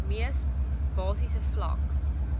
mees basiese vlak